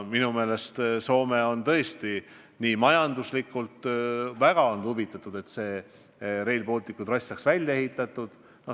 Minu meelest Soome on tõesti olnud majanduslikult väga huvitatud, et Rail Balticu trass saaks välja ehitatud.